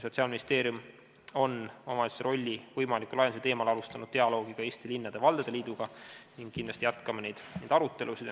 Sotsiaalministeerium on omavalitsuse rolli võimaliku laiendamise teemal alustanud dialoogi ka Eesti Linnade ja Valdade Liiduga ning kindlasti jätkame neid arutelusid.